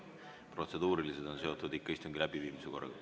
Protseduurilised on seotud ikka istungi läbiviimise korraga.